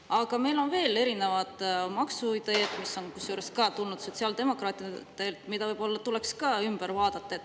Aga meil on veel erinevaid maksuideid, mis on ka tulnud sotsiaaldemokraatidelt ja mis võib-olla tuleks ümber vaadata.